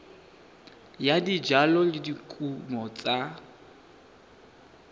ya dijalo le dikumo tsa